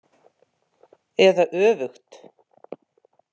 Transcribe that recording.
Eða öfugt.